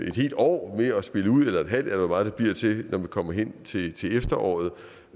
et helt år eller et halvt eller hvor meget det bliver til når vi kommer hen til efteråret